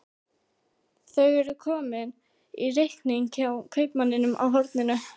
Þau eru komin í reikning hjá kaupmanninum á horninu.